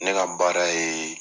Ne ka baara ye